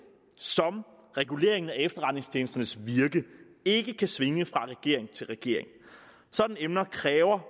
som reguleringen af efterretningstjenesternes virke ikke kan svinge fra regering til regering sådanne emner kræver